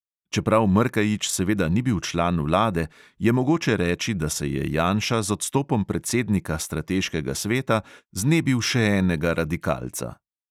Čeprav mrkaić seveda ni bil član vlade, je mogoče reči, da se je janša z odstopom predsednika strateškega sveta znebil še enega radikalca.